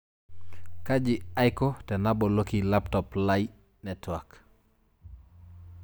Kaji aiko tenaboloki laptop lai network